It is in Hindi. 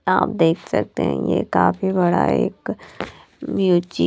आप देख सकते हैं ये काफी बड़ा एक ब्यूची --